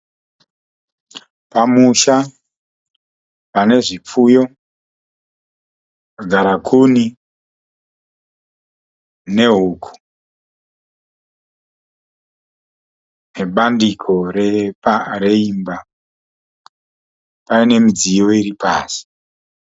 Pamusha pane zvipfuyo, garakuni nehuku, nebandiko reimba paine midziyo iri pasi.